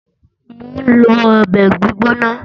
Mò ń lọ ọbẹ̀ gbígbóná